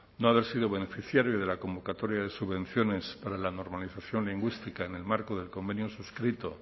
no haber sido beneficiario de la convocatoria de subvenciones para la normalización lingüística en el marco del convenio suscrito